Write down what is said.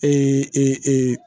Ee e e